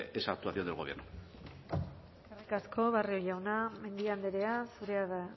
esa actuación del gobierno eskerrik asko barrio jauna mendia andrea zurea da